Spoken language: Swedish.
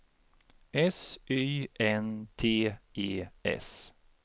S Y N T E S